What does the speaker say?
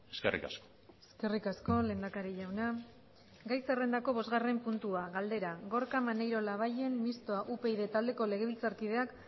eskerrik asko eskerrik asko lehendakari jauna gai zerrendako bosgarren puntua galdera gorka maneiro labayen mistoa upyd taldeko legebiltzarkideak